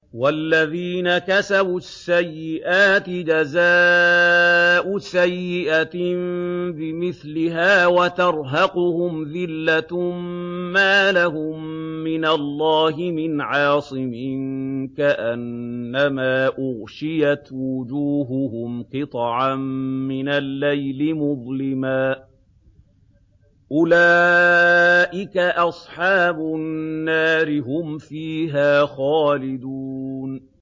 وَالَّذِينَ كَسَبُوا السَّيِّئَاتِ جَزَاءُ سَيِّئَةٍ بِمِثْلِهَا وَتَرْهَقُهُمْ ذِلَّةٌ ۖ مَّا لَهُم مِّنَ اللَّهِ مِنْ عَاصِمٍ ۖ كَأَنَّمَا أُغْشِيَتْ وُجُوهُهُمْ قِطَعًا مِّنَ اللَّيْلِ مُظْلِمًا ۚ أُولَٰئِكَ أَصْحَابُ النَّارِ ۖ هُمْ فِيهَا خَالِدُونَ